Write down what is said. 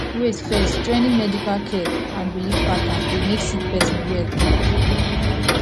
wait firstjoining medical care and biliv patterns dey mek sik person well quick